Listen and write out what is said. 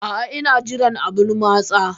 A'a, ina jiran abun matsa.